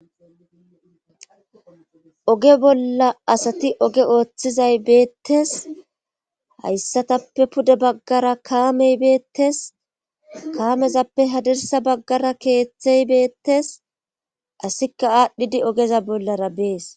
oge bolla asati oge ooththizay beettes. hayssatappe pude baggara kaamey beettes. kaamezappe hadirsa baggara keeththey beettes. asika aadhdhidi ogeza bollara bees.